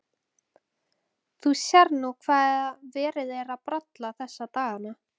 Þú sérð nú hvað verið er að bralla þessa dagana.